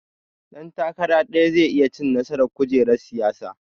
Ɗan takara ɗaya zai iya cin nasaran kujerar siyasa